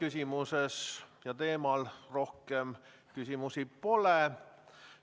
Sellel teemal rohkem küsimusi pole.